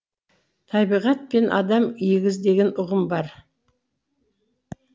табиғат пен адам егіз деген ұғым бар